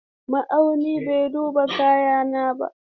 Ma'auni bai duba kayana ba.